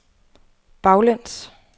baglæns